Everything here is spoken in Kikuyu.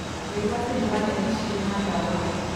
Wĩgwatĩri wa neti cirĩ na dawa